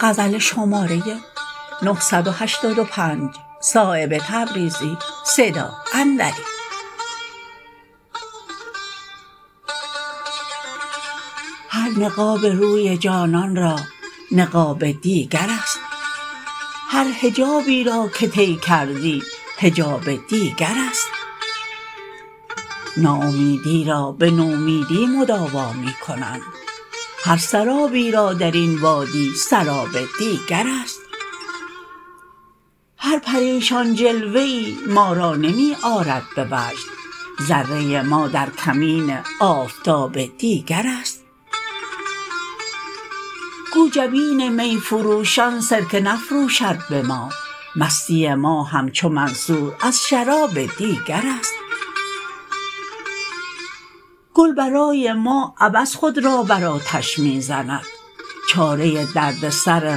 هر نقاب روی جانان را نقاب دیگرست هر حجابی را که طی کردی حجاب دیگرست ناامیدی را به نومیدی مداوا می کنند هر سرابی را درین وادی سراب دیگرست هر پریشان جلوه ای ما را نمی آرد به وجد ذره ما در کمین آفتاب دیگرست گو جبین می فروشان سرکه نفروشد به ما مستی ما همچو منصور از شراب دیگرست گل برای ما عبث خود را بر آتش می زند چاره دردسر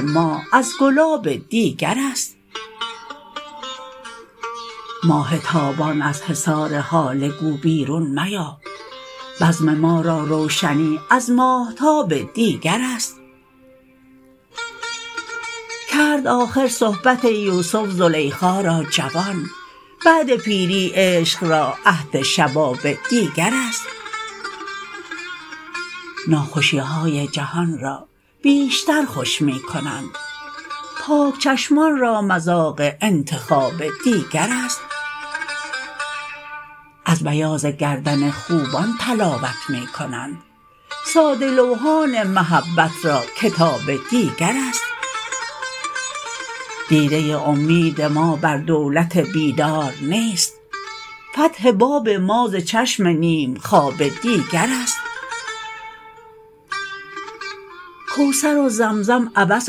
ما از گلاب دیگرست ماه تابان از حصار هاله گو بیرون میا بزم ما را روشنی از ماهتاب دیگرست کرد آخر صحبت یوسف زلیخا را جوان بعد پیری عشق را عهد شباب دیگرست ناخوشی های جهان را بیشتر خوش می کنند پاک چشمان را مذاق انتخاب دیگرست از بیاض گردن خوبان تلاوت می کنند ساده لوحان محبت را کتاب دیگرست دیده امید ما بر دولت بیدار نیست فتح باب ما ز چشم نیمخواب دیگرست کوثر و زمزم عبث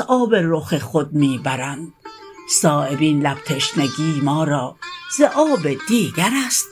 آب رخ خود می برند صایب این لب تشنگی ما را ز آب دیگرست